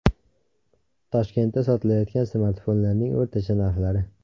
Toshkentda sotilayotgan smartfonlarning o‘rtacha narxlari.